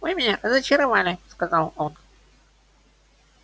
вы меня разочаровали сказал он